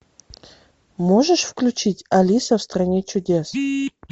можешь включить алиса в стране чудес